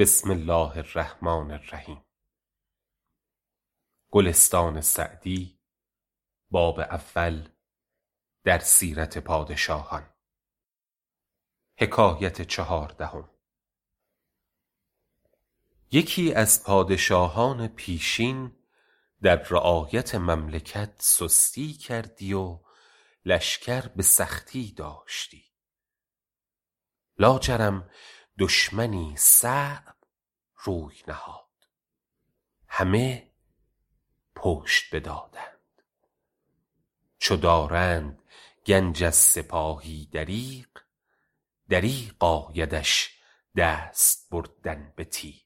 یکی از پادشاهان پیشین در رعایت مملکت سستی کردی و لشکر به سختی داشتی لاجرم دشمنی صعب روی نهاد همه پشت بدادند چو دارند گنج از سپاهی دریغ دریغ آیدش دست بردن به تیغ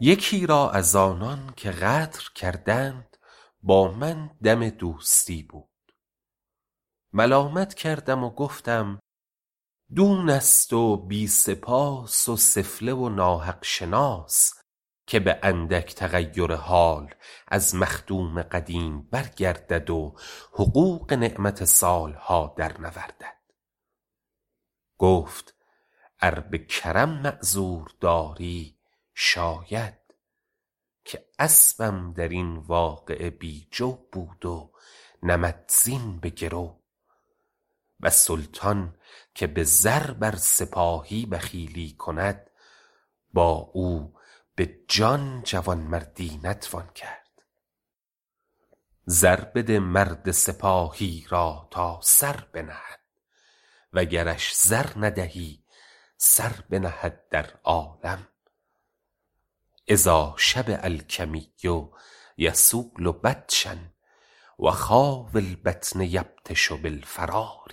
یکی را از آنان که غدر کردند با من دم دوستی بود ملامت کردم و گفتم دون است و بی سپاس و سفله و ناحق شناس که به اندک تغیر حال از مخدوم قدیم برگردد و حقوق نعمت سال ها در نوردد گفت ار به کرم معذور داری شاید که اسبم در این واقعه بی جو بود و نمدزین به گرو و سلطان که به زر بر سپاهی بخیلی کند با او به جان جوانمردی نتوان کرد زر بده مرد سپاهی را تا سر بنهد و گرش زر ندهی سر بنهد در عالم اذا شبع الکمی یصول بطشا و خاوی البطن یبطش بالفرار